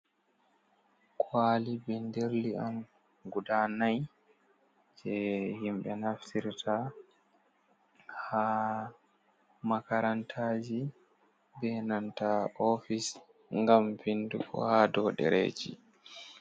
Kwali binderli on guda nai, je himɓe naftirta ha makarantaji be nanta ofice, ngam vindugo ha do ɗereji.